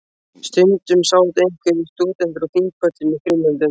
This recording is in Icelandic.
Stundum sátu einhverjir stúdentar á þingpöllum í frímínútum.